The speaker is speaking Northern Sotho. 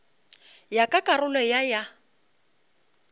ya ka karolo ya ya